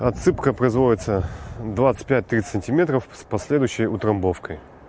отсыпка производится двадцать пять тридцать сантиметров с последующей утрамбовкой